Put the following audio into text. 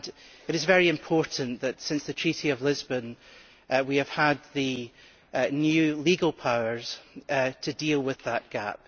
It is very important that since the Treaty of Lisbon we have had the new legal powers to deal with that gap.